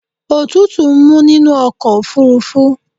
Òtútù mú nínú ọkọ̀ ofúrúfú.